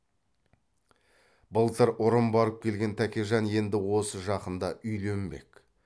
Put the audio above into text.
былтыр ұрын барып келген тәкежан енді осы жақында үйленбек